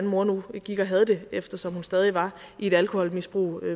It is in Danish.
mor nu gik og havde det eftersom hun stadig var i et alkoholmisbrug